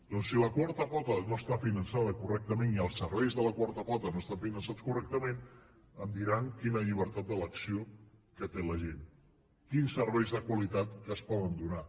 doncs si la quarta pota no està finançada correctament i els serveis de la quarta pota no estan finançats correctament em diran quina llibertat d’elecció té la gent quins serveis de qualitat es poden donar